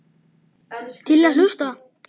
Til í að hlusta.